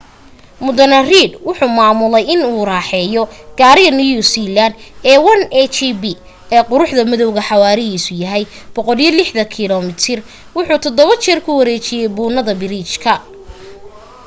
mudane reid wuxuu maamuley in uu kaxeeyo gaariga new zealand ee a1gp ee quruxda madowga xawaarahiisa yahay 160km/h wuxuu todobo jeer ku wareejiyey buundada/biriijka